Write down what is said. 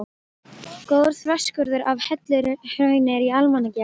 Góður þverskurður af helluhrauni er í Almannagjá.